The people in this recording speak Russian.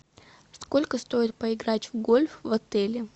сколько стоит поиграть в гольф в отеле